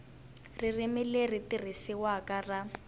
ririmi leri tirhisiwaka ra